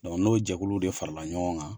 n'o jɛkulu de farala ɲɔgɔn kan.